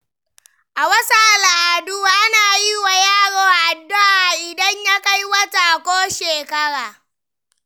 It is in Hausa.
A wasu al’adu, ana yi wa yaro addu’a idan ya kai wata ko shekara.